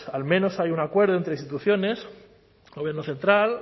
al menos hay un acuerdo entre instituciones gobierno central